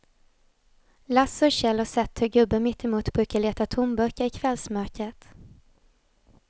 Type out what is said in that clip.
Lasse och Kjell har sett hur gubben mittemot brukar leta tomburkar i kvällsmörkret.